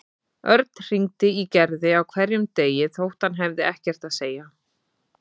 Örn hringdi í Gerði á hverjum degi þótt hann hafði ekkert að segja.